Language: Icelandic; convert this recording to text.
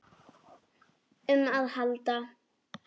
um að halda.